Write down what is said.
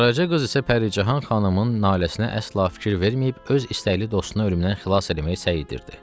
Qaraca qız isə Pərican xanımın naləsinə əsla fikir verməyib öz istəkli dostunu ölümdən xilas eləməyə səy edirdi.